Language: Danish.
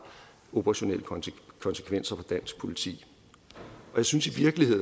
operationelle konsekvenser for dansk politi jeg synes i